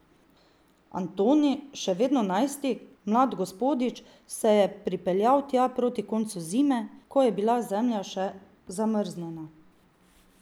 Antoni, še vedno najstnik, mlad gospodič, se je pripeljal tja proti koncu zime, ko je bila zemlja še zamrznjena.